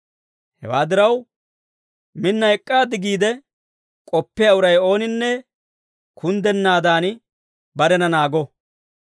Hewaa diraw, minna ek'k'aad giide k'oppiyaa uray ooninne kunddennaadan, barena naago.